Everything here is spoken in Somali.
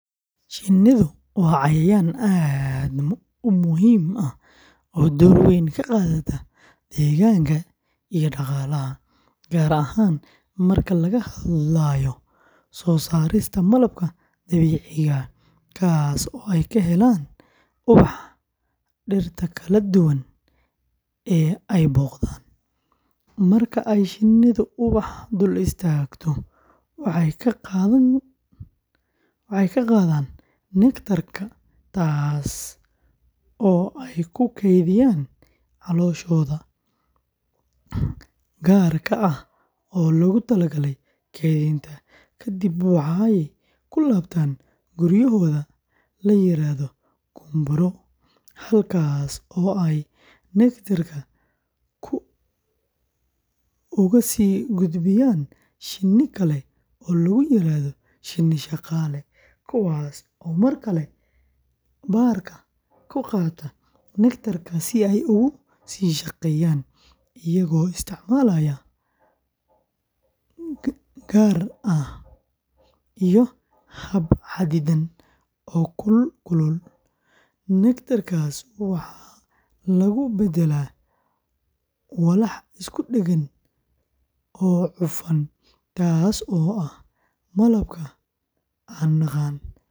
Shinnidu waa cayayaan aad u muhiim ah oo door weyn ka qaata deegaanka iyo dhaqaalaha, gaar ahaan marka laga hadlayo soo saarista malabka dabiiciga ah, kaasoo ay ka helaan ubaxa dhirta kala duwan ee ay booqdaan; marka ay shinnidu ubaxa dul istaagto, waxay ka qaadaan neectar-ka, taas oo ay ku kaydiyaan calooshooda gaarka ah ee loogu talagalay kaydinta; kadib, waxay ku laabtaan guryahooda la yiraahdo gumburo, halkaas oo ay neectar-ka uga sii gudbiyaan shinni kale oo loogu yeero shinni-shaqaale, kuwaas oo mar kale baarka ku qaata neectar-ka, si ay ugu sii shaqeeyaan, iyaga oo isticmaalaya gaar ah iyo hab xadidan oo kul-kulul, neectar-kaas waxaa lagu beddelaa walax isku dheggan oo cufan, taasoo ah malabka aan naqaan.